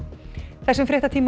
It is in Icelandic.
þessum fréttatíma er